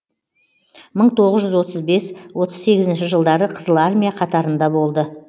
мың тоғыз жүз отыз бес отыз сегізінші жылдары қызыл армия қатарында болды